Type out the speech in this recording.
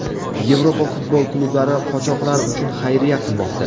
Yevropa futbol klublari qochoqlar uchun xayriya qilmoqda.